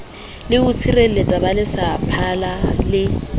le ho tshireletsa baletsaphala le